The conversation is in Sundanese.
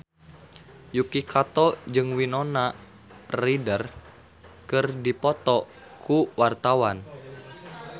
Yuki Kato jeung Winona Ryder keur dipoto ku wartawan